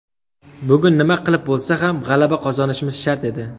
Bugun nima qilib bo‘lsa ham g‘alaba qozonishimiz shart edi.